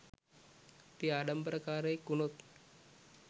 අපි ආඩම්බරකාරයෙක් වුණොත්